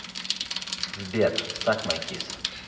сбер сак май кисс